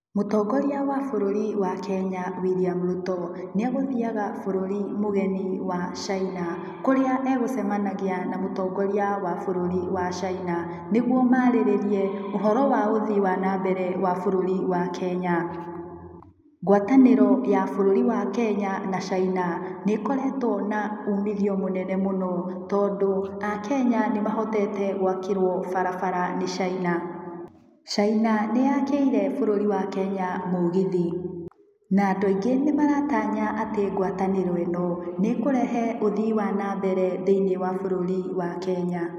Mũtongoria wa bũrũri wa Kenya, William Ruto, nĩegũthiaga bũrũri mũgeni wa China kũrĩa egũcemenagia na mũtongoria wa bũrũri wa China, nĩguo maarĩrĩrie ũhoro wa ũthii wa nambere wa bũrũri wa Kenya. Ngwatanĩro ya bũrũri wa Kenya na China, nĩ ĩkoretwa na uumithio mũnene mũno tondũ a Kenya nĩ mahotete gũakĩrwo barabara nĩ China. China nĩyakĩire bũrũri wa Kenya mũgithi, na andũ aingĩ nĩmaratanya atĩ ngwatanĩro ĩno nĩ ĩkũrehe ũthii wa na mbere thĩiniĩ wa bũrũri wa Kenya.